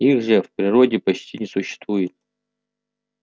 их же в природе почти не существует